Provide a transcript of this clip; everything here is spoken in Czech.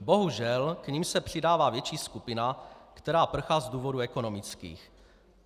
Bohužel, k nim se přidává větší skupina, která prchá z důvodů ekonomických.